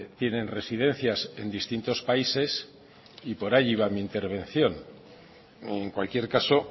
tienen residencias en distintos países y por ahí iba mi intervención en cualquier caso